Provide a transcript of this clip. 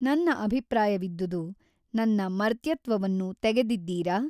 ನನ್ನ ಅಭಿಪ್ರಾಯವಿದ್ದುದು ನನ್ನ ಮರ್ತ್ಯತ್ವವವನ್ನು ತೆಗೆದಿದ್ದೀರಾ?